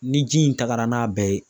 Ni ji in tagara n'a bɛɛ ye